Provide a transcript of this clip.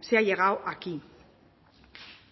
se ha llegado aquí